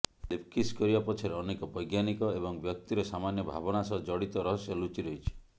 lip kiss କରିବା ପଛରେ ଅନେକ ବୈଜ୍ଞାନିକ ଏବଂ ବ୍ୟକ୍ତିର ସାମାନ୍ୟ ଭାବନା ସହ ଜଡ଼ିତ ରହସ୍ୟ ଲୁଚି ରହିଛି